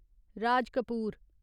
Raj Kapoor